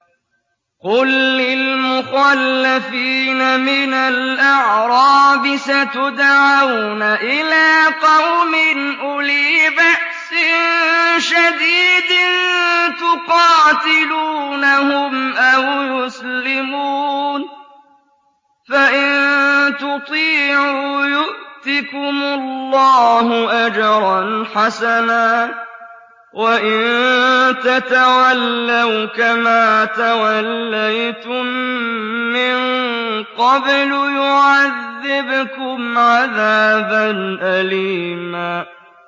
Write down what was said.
قُل لِّلْمُخَلَّفِينَ مِنَ الْأَعْرَابِ سَتُدْعَوْنَ إِلَىٰ قَوْمٍ أُولِي بَأْسٍ شَدِيدٍ تُقَاتِلُونَهُمْ أَوْ يُسْلِمُونَ ۖ فَإِن تُطِيعُوا يُؤْتِكُمُ اللَّهُ أَجْرًا حَسَنًا ۖ وَإِن تَتَوَلَّوْا كَمَا تَوَلَّيْتُم مِّن قَبْلُ يُعَذِّبْكُمْ عَذَابًا أَلِيمًا